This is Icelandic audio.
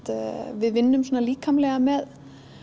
við vinnum líkamlega með